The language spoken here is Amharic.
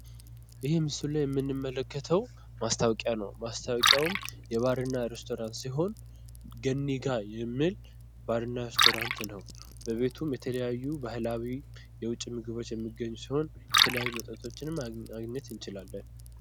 ይሄ ምስል ላይ የምንመለከተው ማስታወቂያ ነው ።ማስታወቂያውም የባርና ሬስቶራንት ሲሆን ገኒ ጋ የሚል ባር እና ሬስቶራንት ነው ።በቤቱም የተለያዩ ባህላዊ የውጭ ምግቦች የሚገኙ ሲሆን የተለያዩ መጠጦችን ማግኘት እንችላለን ።